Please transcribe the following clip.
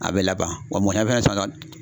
A bɛ laban wa